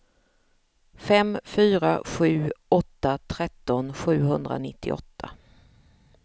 fem fyra sju åtta tretton sjuhundranittioåtta